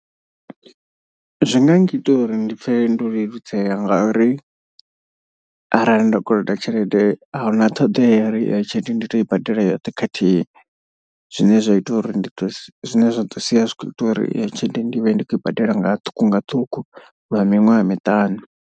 Zwi nga ngita uri ndi pfhe ndo leludzela ngauri arali nda koloda tshelede a huna ṱhoḓea ya uri iyo tshelede ndi to i badela yoṱhe khathihi. Zwine zwa ita uri ndi to zwine zwa ḓo sia zwi kho ita uri iyo tshelede ndi vhe ndi khou i badela nga ṱhukhu nga ṱhukhu lwa miṅwaha miṱanu.